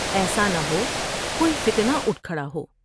ایسا نہ ہو کوئی فتنہ اٹھ کھڑا ہو ۔